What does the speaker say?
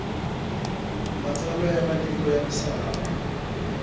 matsalwa ya matiko ya misava